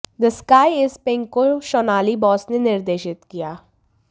the sky is pink को शोनाली बोस ने निर्देशित किया